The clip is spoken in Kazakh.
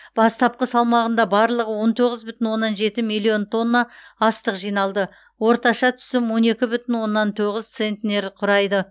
бастапқы салмағында барлығы он тоғыз бүтін оннан жеті миллион тонна астық жиналды орташа түсім он екі бүтін оннан тоғыз центнер құрайды